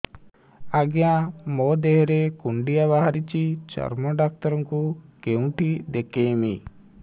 ଆଜ୍ଞା ମୋ ଦେହ ରେ କୁଣ୍ଡିଆ ବାହାରିଛି ଚର୍ମ ଡାକ୍ତର ଙ୍କୁ କେଉଁଠି ଦେଖେଇମି